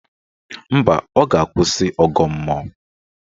Mba, ọ ga-akwụsị ọgọ mmụọ